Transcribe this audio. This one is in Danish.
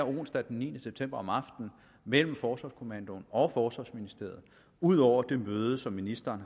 onsdag den niende september mellem forsvarskommandoen og forsvarsministeriet ud over det møde som ministeren